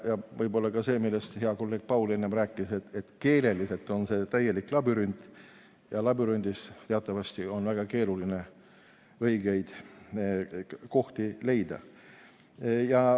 Võib-olla ka see, millest hea kolleeg Paul enne rääkis, et keeleliselt on see täielik labürint ja labürindis on teatavasti väga keeruline õiget teed leida.